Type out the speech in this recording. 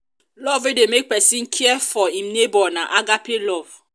love wey de make persin care for im neighbor na agape love